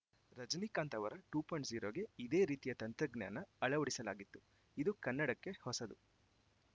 ರಜನಿಕಾಂತ್‌ ಅವರ two point zero ಗೆ ಇದೇ ರೀತಿಯ ತಂತ್ರಜ್ಞಾನ ಅಳವಡಿಸಲಾಗಿತ್ತು ಇದು ಕನ್ನಡಕ್ಕೆ ಹೊಸದು